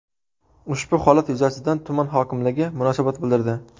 Ushbu holat yuzasidan tuman hokimligi munosabat bildirdi .